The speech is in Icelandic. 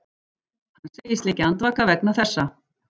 Hann segist liggja andvaka vegna þessa